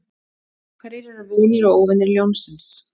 hverjir eru vinir og óvinir ljónsins